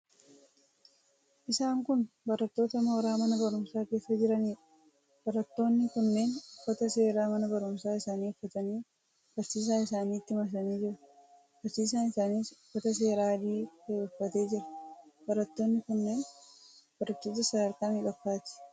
Isaan kun barattoota mooraa mana barumsaa keessa jiraniidha. Barattoonni kunneen uffata seeraa mana barumsaa isaanii uffatanii barsiisaa isaaniitti marsanii jiru. Barsiisaan isaaniis uffata seeraa adii ta'e uffatee jira. Barattoonni kunneen barattoota sadarkaa meeqaffaati?